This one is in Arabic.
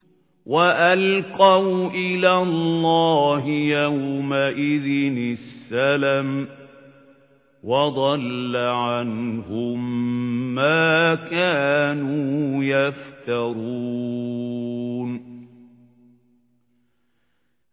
وَأَلْقَوْا إِلَى اللَّهِ يَوْمَئِذٍ السَّلَمَ ۖ وَضَلَّ عَنْهُم مَّا كَانُوا يَفْتَرُونَ